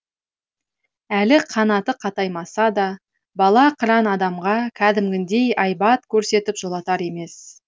әлі қанаты қатаймаса да бала қыран адамға кәдімгідей айбат көрсетіп жолатар емес